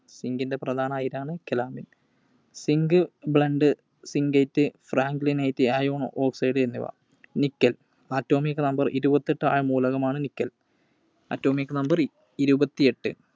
Zinc ൻറെ പ്രധാന അയിരാണ് Calamine, Zinc Blende, Zincite, Franklinite, എന്നിവ. Nickel. Atomic Number ഇരുപത്തിയെട്ട് ആയ മൂലകമാണ് Nickel. Atomic Number ഇരുപത്തിയെട്ട്.